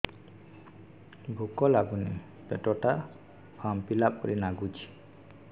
ଭୁକ ଲାଗୁନି ପେଟ ଟା ଫାମ୍ପିଲା ପରି ନାଗୁଚି